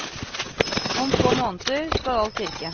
Om få måneder skal alt virke.